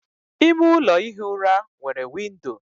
ime ụlọ ihi ụra nwere windo